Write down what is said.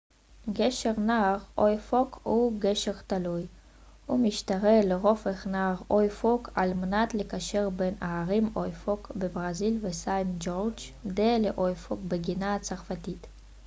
גשר נהר אוייפוק הוא גשר תלוי הוא משתרע לרוחב נהר אוייפוק על מנת לקשר בין הערים אוייפוק בברזיל וסיינט ג'ורג' דה ל'אוייפוק בגיאנה הצרפתית